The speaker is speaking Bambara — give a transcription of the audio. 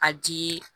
A ji